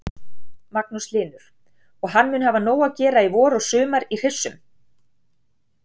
Magnús Hlynur: Og hann mun hafa nóg að gera í vor og sumar í hryssum?